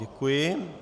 Děkuji.